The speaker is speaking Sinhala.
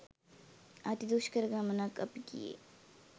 අති දුෂ්කර ගමණක් අපි ගියේ.